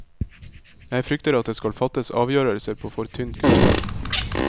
Jeg frykter at det skal fattes avgjørelser på for tynt grunnlag.